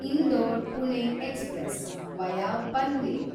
Indore Pune express (via Panvel)